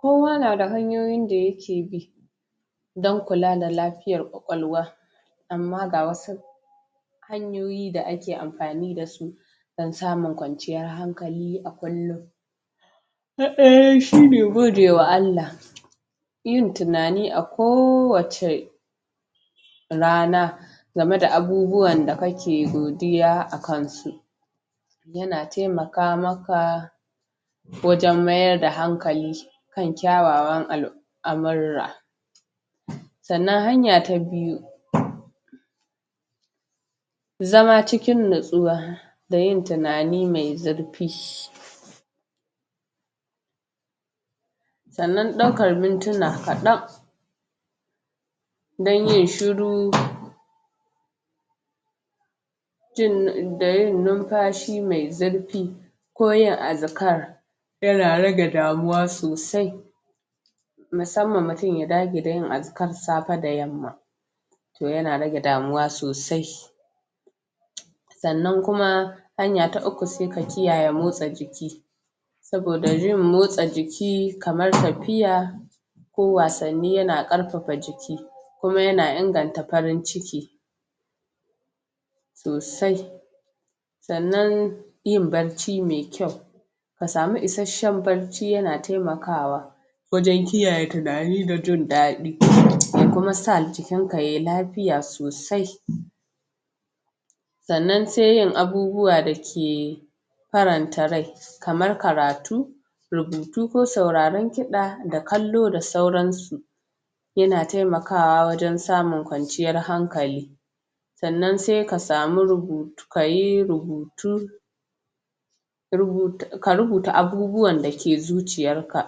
Kowa nada hanyoyin daya ke bi dan kula da la fiyar ƙwaƙwalwa amma ga wasu hanyoyi da a ke an ni dasu dan sanun kwanciyar hankali dan samun kwanciyar hankali a kullun a kullun na daya shine gode wa Allah yin tunani a koh wacce rana gameda abubuwan da kake godiya akan su game da abubuwan da kake godiya akan su yana taima maka maka ka wajan mayar da hankali kan kyawawan al' amura sanan hanya ta biyu zama cikin nutsuwa da yin tunani mai mai zur fi sanan ɗaukar mintuna kaɗan dan yin shiru? da yin nunfashi mai zurfi ko yin azkar yana rage damuwa sosai musamman mutun ya dage da yin az kar safe da yamma to yana rage damuwa sosai sanan kuma hanya ta uku sai ka kiyayae motsa jiki saboda yin motsa jiki kamar tafiya kowasanni yana ƙarfafa jiki kuma yana inganta farin ciki sosai sanan yin bacci mai kyau ka sau isashen bacci yana taimakawa waje kiyaye tunani da jin dadi? ya kuma sa jikin ka yayi lafi fiya sosai sanan sai yin abubuwa dake faranta rai kamar karatu rubutu ko sauraran kida da kalo da sauran su yana taimakawa wajen samun kwanciyar hankali sannan sai ka samu rubutu ka yi rubuta ka rubu ta abubuwan dake zuciyar ka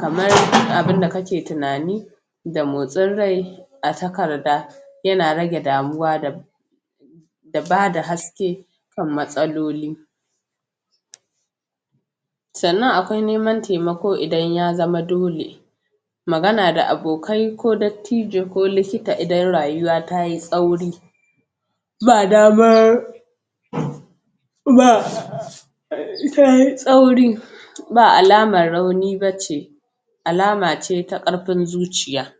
kamar abun da kake tunani ba motsin rai a takarda yana raeg damuwa da da bada haske kan matsaloli sanan akwai neman taimako idan ya zama dole magana da abokai magana da abokai tijo ko likita idan rayuwa tayi tsauri badama tayi tsauri ba alaman rauni bace alama ce ta karfin zuciya